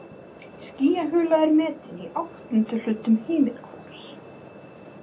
Skýjahula er metin í áttunduhlutum himinhvolfs.